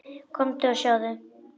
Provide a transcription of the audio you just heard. Komdu og sjáðu!